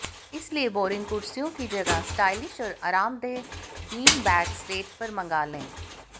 इसलिए बोरिंग कुर्सियों की जगह स्टाइलिश और आरामदेह बीन बैग्स रेंट पर मंगा लें